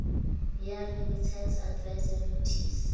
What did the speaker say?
ya remittance advice ya nothisi